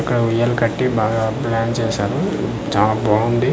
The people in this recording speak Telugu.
ఇక్కడ ఉయ్యాల కట్టి బాగా అద్బుతంగా చేశారు చాలా బాగుంది .]